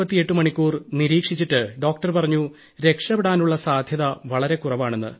48 മണിക്കൂർ നിരീക്ഷിച്ചിട്ട് ഡോക്ടർ പറഞ്ഞു രക്ഷപ്പെടാനുള്ള സാധ്യത വളരെ കുറവാണെന്ന്